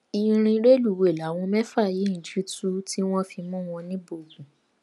ìrìn rélùwéè làwọn mẹfà yìí ń jì tu tí wọn fi mú wọn níbógun